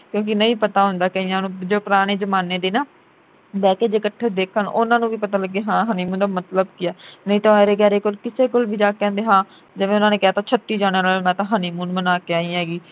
ਕਿਉਕਿ ਨਹੀਂ ਪਤਾ ਹੁੰਦਾ ਕਈਆਂ ਨੂੰ ਜੋ ਪੁਰਾਣੇ ਜਮਾਨੇ ਦੇ ਨਾ ਬਹਿ ਕੇ ਇਕੱਠੇ ਦੇਖਣ ਉਨ੍ਹਾਂ ਨੂੰ ਵੀ ਪਤਾ ਲੱਗੇ ਹਾਂ honeymoon ਦਾ ਮਤਲਬ ਕੀ ਆ ਨਹੀਂ ਤਾਂ ਐਰੇ ਗੈਰੇ ਕੋਲ ਕਿਸੇ ਕੋਲ ਵੀ ਜਾ ਕੇ ਕਹਿ ਦੇਣ ਹਾਂ ਜਿਵੇ ਉਨ੍ਹਾਂ ਨੇ ਕਹਿ ਤਾਂ ਛੱਤੀ ਜਾਣਿਆਂ ਨੂੰ ਮੈਂ ਤਾਂ honeymoon ਮਨਾ ਆਈ ਹੈਗੀ